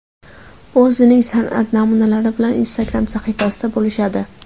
U o‘zining san’at namunalari bilan Instagram sahifasida bo‘lishadi.